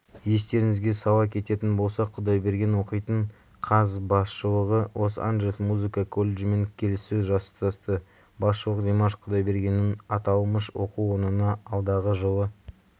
естеріңізге сала кететін болсақ құдайберген оқитын қаз басшылығы лон-анджелес музыка колледжімен келіссөз жасасты басшылық димаш құдайбергеннің аталмыш оқу орнына алдағы жылы